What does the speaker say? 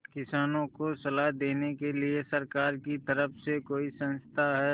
किसानों को सलाह देने के लिए सरकार की तरफ से कोई संस्था है